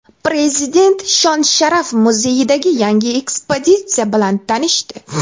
Prezident Shon-sharaf muzeyidagi yangi ekspozitsiya bilan tanishdi.